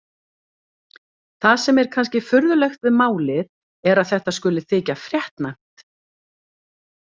Það sem er kannski furðulegt við málið er að þetta skuli þykja fréttnæmt.